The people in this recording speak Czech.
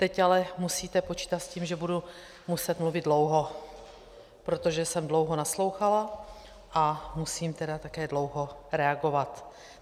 Teď ale musíte počítat s tím, že budu muset mluvit dlouho, protože jsem dlouho naslouchala, a musím tedy také dlouho reagovat.